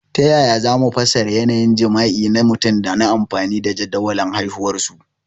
Ta yaya za mu fassara yanayin jima'i na mutum ta amfani da jadawalin haihuwarsu?